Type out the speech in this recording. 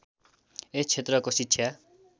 यस क्षेत्रको शिक्षा